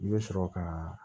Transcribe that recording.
I bɛ sɔrɔ ka